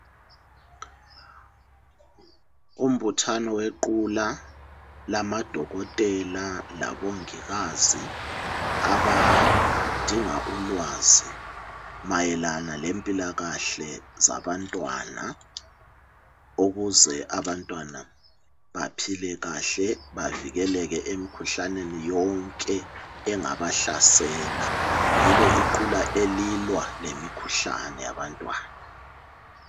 Umbuthano wequla lamadokotela labongikazi abadinga ulwazi mayelana lempilakahle zabantwana ukuze abantwana baphile kahle, bavikeleke emkhuhlaneni yonke engabahlasela. Yilo iqula elilwa lemkhuhlane yabantwana.